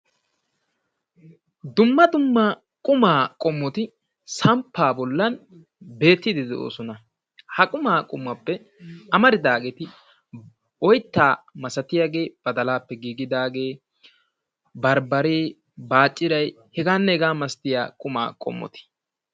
dumma dumma qumaa qommoti samppa bollan bettidi de'oosona. ha quma qommuwappe amaridaageeti oytta malaatiyageeti barbbaree, baacciray heganne hegaa malatiyaageeti.